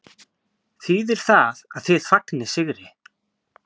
Þýðir það að þið fagnið sigri?